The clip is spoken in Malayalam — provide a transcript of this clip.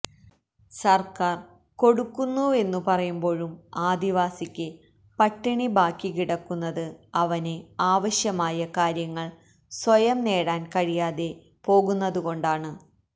സര്ക്കാര് കൊടുക്കുന്നുവെന്നു പറയുമ്പോഴും ആദിവാസിക്ക് പട്ടിണി ബാക്കി കിടക്കുന്നത് അവന് ആവശ്യമായ കാര്യങ്ങള് സ്വയം നേടാന് കഴിയാതെ പോകുന്നതുകൊണ്ടാണ്